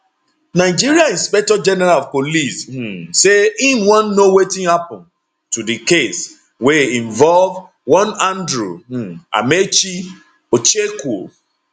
nigeria inspectorgeneral of police um say im wan know wetin happun to di case wey involve one andrew um amaechi ocheckwo